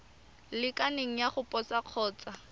lekaneng ya go posa kgotsa